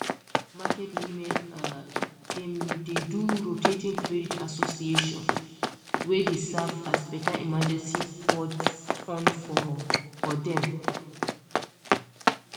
market women um dem dey do rotating credit association wey dey serve as better emergency fund for for dem um